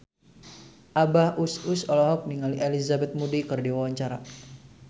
Abah Us Us olohok ningali Elizabeth Moody keur diwawancara